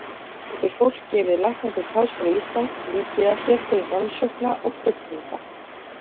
Enn fremur getur fólk gefið læknadeild Háskóla Íslands líkið af sér til rannsókna og krufningar.